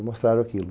E mostraram aquilo.